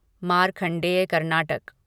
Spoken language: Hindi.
मारखंडेय कर्नाटक